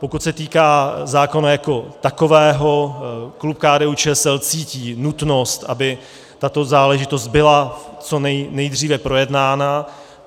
Pokud se týká zákona jako takového, klub KDU-ČSL cítí nutnost, aby tato záležitost byla co nejdříve projednána.